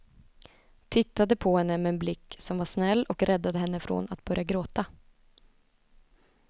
Tittade på henne med en blick som var snäll och räddade henne från att börja gråta.